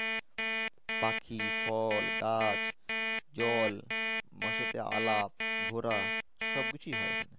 পাখি ফল গাছ জল আলাপ ঘোরা সব কিছুই হয় এখানে